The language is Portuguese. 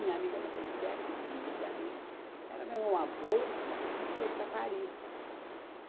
Minha amiga Maria José, querida amiga, ela ganhou uma bolsa e foi para Paris.